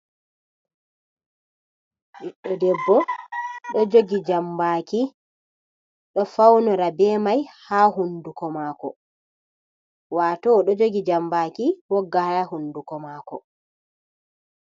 Ɓiɗɗo debbo ɗo jogi jambaki ɗo faunora be mai ha hunduko mako, wato oɗo jogi jambaki wogga ha hunduko mako.